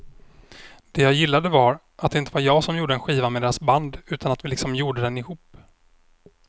Det jag gillade var att det inte var jag som gjorde en skiva med deras band utan att vi liksom gjorde den ihop.